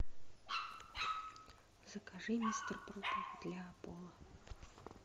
закажи мистер пропер для пола